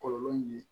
Kɔlɔlɔ ye